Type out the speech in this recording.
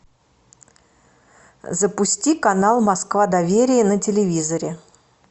запусти канал москва доверие на телевизоре